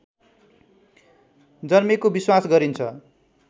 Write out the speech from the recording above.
जन्मेको विश्वास गरिन्छ